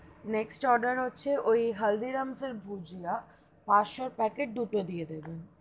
Next order হচ্ছে, ওই হালদিরামের bhujia পাঁচশো packet দুটো দিয়ে দেবেন,